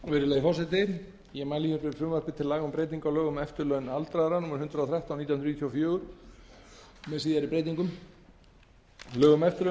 virðulegi forseti ég mæli fyrir frumvarpi til laga um breytingu á lögum um eftirlaun aldraðra númer hundrað og þrettán nítján hundruð níutíu og fjögur með síðari breytingum lögin um eftirlaun til